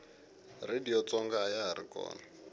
radiyo tsonga ayahari kona